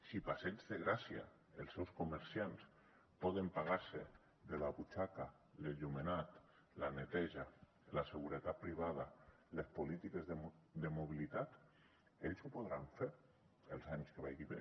si passeig de gràcia els seus comerciants poden pagar se de la butxaca l’enllumenat la neteja la seguretat privada les polítiques de mobilitat ells ho podran fer els anys que vagi bé